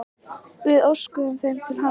Við óskuðum þeim til hamingju.